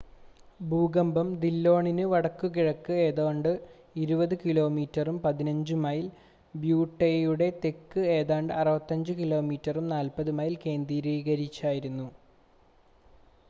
ഭൂകമ്പം ദില്ലോണിന് വടക്കുകിഴക്ക് ഏതാണ്ട് 20 കിലോമീറ്ററും 15 മൈൽ ബ്യൂട്ടെയുടെ തെക്ക് ഏതാണ്ട് 65 കിലോമീറ്ററും 40 മൈൽ കേന്ദ്രീകരിച്ചായിരുന്നു